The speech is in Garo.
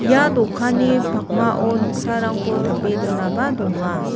ia dokanni pakmao noksarangko tape donaba donga.